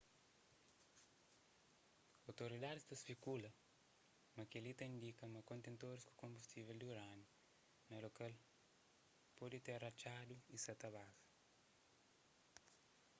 outoridadis ta spekula ma kel-li ta indika ma kontentoris ku konbustível di urániu na lokal pode ter ratxadu y sa ta baza